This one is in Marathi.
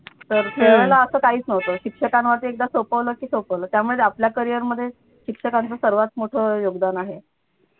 तर त्या वेळेला असं काहीच नव्हतं शिक्षकांनी वरती एकदा सोपवलं की सोपवलं त्यामुळे आपल्या career मध्ये शिक्षकांचं सगळ्यात मोठं योगदान आहे.